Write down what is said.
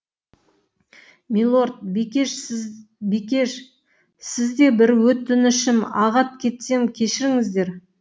милорд бикеш сіз де бір өтінішім ағат кетсем кешіріңіздер